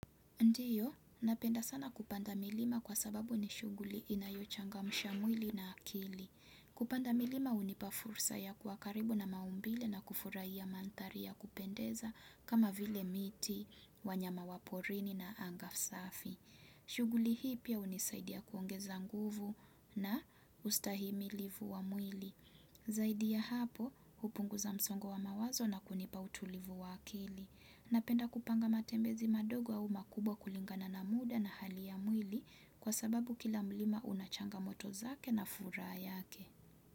Ndiyo, napenda sana kupanda milima kwa sababu ni shughuli inayochangamsha mwili na akili. Kupanda milima hunipa fursa ya kuwa karibu na maumbile na kufurahia manthari ya kupendeza kama vile miti, wanyama waporini na anga safi. Shughuli hii pia hunisaidia kuongeza nguvu na kustahimilivu wa mwili. Zaidi ya hapo, hupunguza msongo wa mawazo na kunipa utulivu wa akili. Napenda kupanga matembezi madogo au makubwa kulingana na muda na hali ya mwili kwa sababu kila mlima unachangamoto zake na furaha yake.